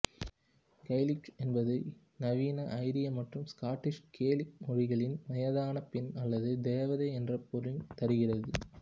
கெய்லீச் என்பது நவீன ஐரிய மற்றும் இசுகாட்டிஷ் கேலிக் மொழிகளில் வயதான பெண் அல்லது தேவதை என்ற பொருள் தருகிறது